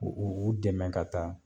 U u u dɛmɛ ka taa